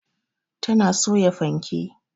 Ta na soya fanke